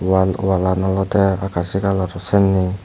wal wallan olode akasi rongor sanne.